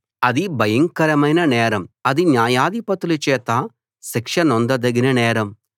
అది భయంకరమైన నేరం అది న్యాయాధిపతుల చేత శిక్షనొందదగిన నేరం